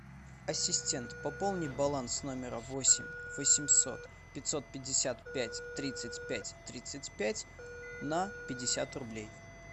ассистент пополни баланс номера восемь восемьсот пятьсот пятьдесят пять тридцать пять тридцать пять на пятьдесят рублей